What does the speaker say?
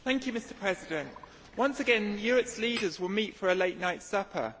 Mr President, once again Europe's leaders will meet for a late night supper.